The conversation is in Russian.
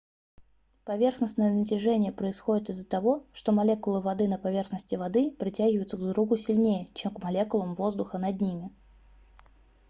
поверхностное натяжение происходит из-за того что молекулы воды на поверхности воды притягиваются друг к другу сильнее чем к молекулам воздуха над ними